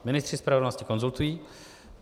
Ministři spravedlnosti konzultují.